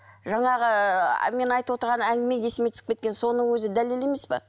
жаңағы ы мен айтып отырған әңгіме есіме түсіп кеткен соның өзі дәлел емес пе